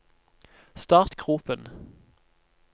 startgropen